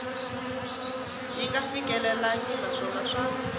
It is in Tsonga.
yi nga fikelelangi naswona swa